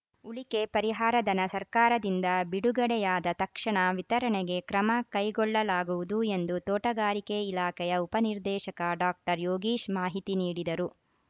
ಉಳಿಕೆ ಪರಿಹಾರಧನ ಸರ್ಕಾರದಿಂದ ಬಿಡುಗಡೆಯಾದ ತಕ್ಷಣ ವಿತರಣೆಗೆ ಕ್ರಮ ಕೈಗೊಳ್ಳಲಾಗುವುದು ಎಂದು ತೋಟಗಾರಿಕೆ ಇಲಾಖೆಯ ಉಪನಿರ್ದೇಶಕ ಡಾಕ್ಟರ್ ಯೋಗೀಶ್‌ ಮಾಹಿತಿ ನೀಡಿದರು